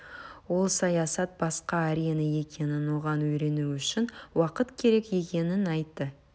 ол саясат басқа арена екенін оған үйрену үшін уақыт керек екенін айтты